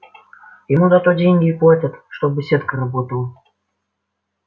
ему за то деньги и платят чтобы сетка работала